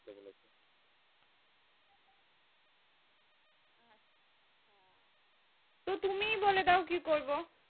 বলে দাও কি করবো?